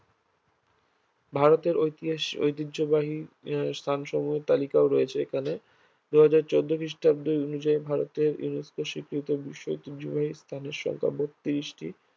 ভারতের ঐতিহাসিক ঐতিহ্যবাহী আহ স্থানসমূহের তালিকাও রয়েছে এখানে দুই হাজার চৌদ্দ খ্রিস্টাব্দে অনুযায়ী ভারতের UNESCO স্বীকৃতি বিশ্ব ঐতিহ্যবাহী স্থানের সংখ্যা বত্রিশটি